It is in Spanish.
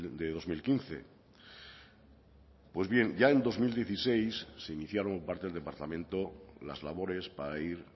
de dos mil quince pues bien ya en dos mil dieciséis se iniciaron parte del departamento las labores para ir